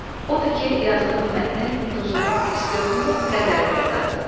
Odur ki, yazdığım mətnin duzunu, istiotunu qədərində qat.